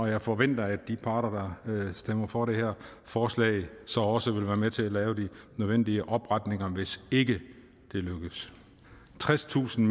jeg forventer at de parter der stemmer for det her forslag så også vil være med til at lave de nødvendige opretninger hvis ikke det lykkes tredstusind